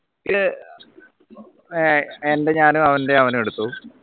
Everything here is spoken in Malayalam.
ഏർ എൻറെ ഞാനും അവൻറെ അവനും എടുത്തു